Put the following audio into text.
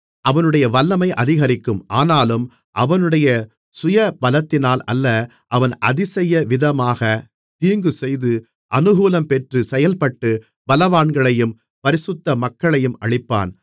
அவனுடைய வல்லமை அதிகரிக்கும் ஆனாலும் அவனுடைய சுயபலத்தினால் அல்ல அவன் அதிசய விதமாக தீங்குசெய்து அநுகூலம்பெற்றுச் செயல்பட்டு பலவான்களையும் பரிசுத்த மக்களையும் அழிப்பான்